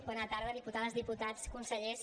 bona tarda diputades diputats consellers